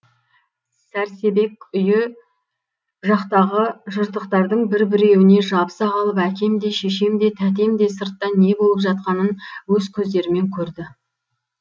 сәрсебек үйі жақтағы жыртықтардың бір біреуіне жабыса қалып әкем де шешем де тәтем де сыртта не болып жатқанын өз көздерімен көрді